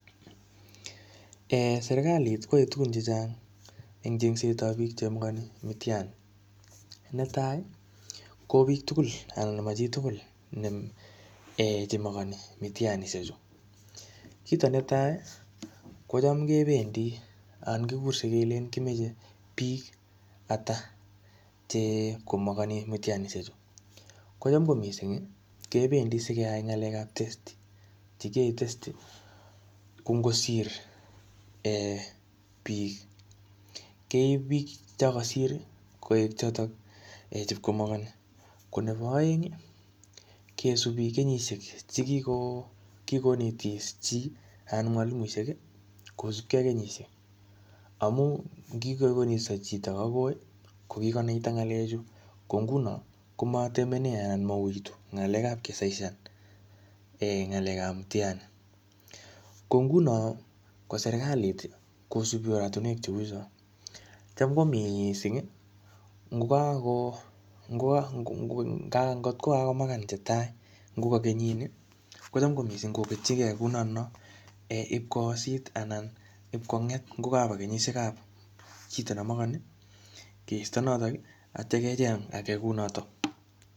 Serkalit ko yoe tugun chechang en Chengset ab bik chemakani mtihani netai ko bik tugul anan mo chi tugul Che makani mtihanisiechu kit netai kocham kegurse kelen kimoche bik Ata Che ib komakani mtihanisiechu kocham ko mising kebendi si keyai ngalek Che kiyoe testi ko angosir bik keib bik chon kosir koek choton Che ibe komakani ko nebo aeng koiti bik kenyisiek Che kigonetis chi anan mwalimuinik kosubge ak kenyisiek amun chito nekikosoisonis komatemenen anan mouitu ngalek ab kisaisan ngalek ab mtihani ko nguno ko serkalit kosubi oratinwek Cheu chon Cham ko mising angot ko kakomagan Che tai ango ko kenyini kocham ko mising Ib konget anan ko kaba kenyisiek chebo chito nemokoni keisto notok ak yeityo kecheng age kounoton